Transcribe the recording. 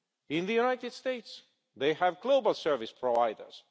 In the United States they have global service providers.